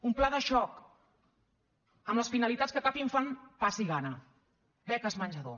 un pla de xoc amb les finalitats que cap infant passi gana beques menjador